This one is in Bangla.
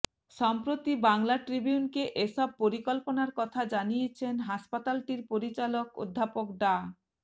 সম্প্রতি বাংলা ট্রিবিউনকে এসব পরিকল্পনার কথা জানিয়েছেন হাসপাতালটির পরিচালক অধ্যাপক ডা